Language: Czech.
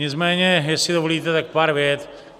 Nicméně jestli dovolíte, tak pár vět.